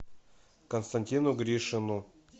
константину гришину